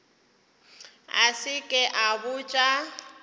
a se ke a botša